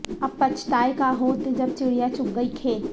اب پچھتائے کا ہوت جب چڑیاں چگ گئیں کھیت